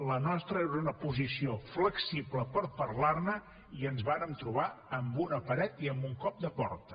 la nostra era una posició flexible per parlar ne i ens vàrem trobar amb una paret i amb un cop de porta